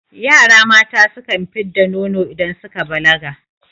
Yara mata sukan fid da nono idan suka balaga